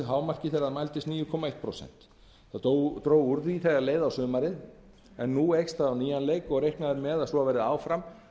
hámarki þegar það mældist níu komma eitt prósent það dró úr því þegar leið á sumarið en nú eykst það á nýjan leik og er reiknað með